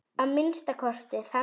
Að minnsta kosti þann dag.